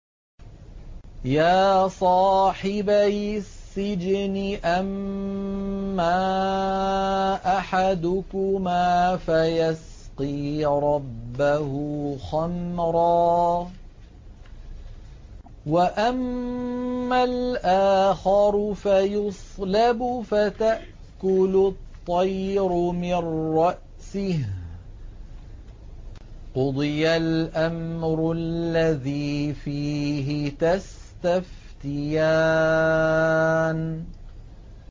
يَا صَاحِبَيِ السِّجْنِ أَمَّا أَحَدُكُمَا فَيَسْقِي رَبَّهُ خَمْرًا ۖ وَأَمَّا الْآخَرُ فَيُصْلَبُ فَتَأْكُلُ الطَّيْرُ مِن رَّأْسِهِ ۚ قُضِيَ الْأَمْرُ الَّذِي فِيهِ تَسْتَفْتِيَانِ